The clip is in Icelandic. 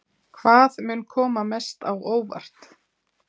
Hvað mun koma mest á óvart?